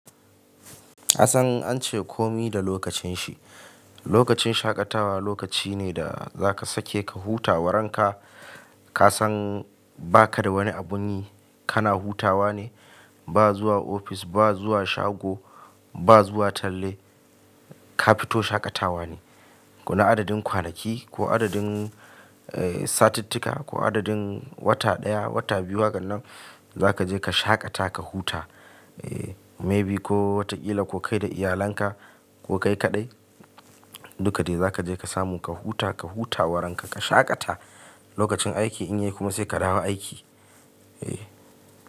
Kassan ance komi da lokacin shi. Lokacin shaƙatawa lokaci ne da zaka sake ka hutawa ranka. Ka san baka da wani abun yi, kana hutawa ne. Ba zuwa ofis, ba zuwa shago, ba zuwa talle. Ka fito shaƙatawa ne. Ko na adadin kwanaki ko adadin, eh, satitika ko adadin wata ɗaya, wata biyu, hakan nan zaka je ka shaƙata ka huta. Eh, maybe ko wataƙila ko kai da iyalanka ko kai kaɗai. Duka dai za ka je ka samu ka huta, ka hutawa ranka ka shaƙata. Lokacin aiki in yayi kuma sai ka dawo aiki. Eh.